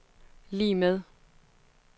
lig med